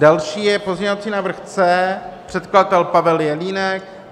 Další je pozměňovací návrh C, předkladatel Pavel Jelínek.